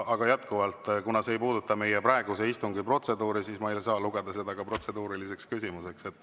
Aga jätkuvalt, kuna see ei puuduta meie praeguse istungi protseduuri, siis ma ei saa lugeda seda protseduuriliseks küsimuseks.